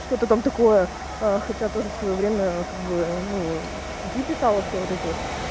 что-то там такого а хотя тоже в своё время как бы ну статьи писала все вот эти вот